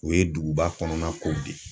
O ye duguba kɔnɔna kow de ye.